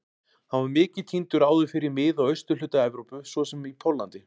Hann var mikið tíndur áður fyrr í mið- og austurhluta Evrópu svo sem í Póllandi.